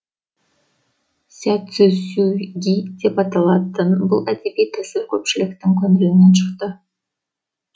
сядзицусюги деп аталатын бұл әдеби тәсіл көпшіліктің көңілінен шықты